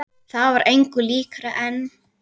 Það var engu líkara en.